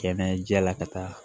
Kɛnɛjɛla ka taa